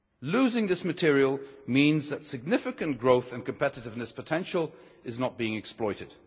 Losing this material means that significant growth and competitiveness potential is not being exploited.